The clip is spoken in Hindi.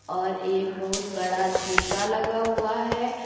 और एक बहुत बड़ा शीशा लगा हुआ है।